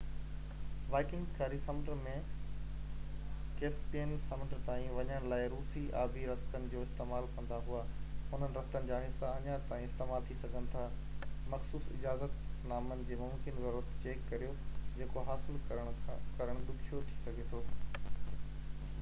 Vikings ڪاري سمنڊ ۽ Caspian سمنڊ تائين وڃڻ لاءِ روسي آبي رستن جو استعمال ڪندا هئا انهن رستن جا حصا اڃا تائين استعمال ٿي سگهن ٿا مخصوص اجازت نامن جي ممڪن ضرورت چيڪ ڪريو جيڪو حاصل ڪرڻ ڏکيو ٿي سگهي ٿو